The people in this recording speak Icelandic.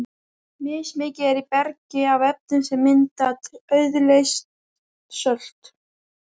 Mismikið er í bergi af efnum sem mynda auðleyst sölt.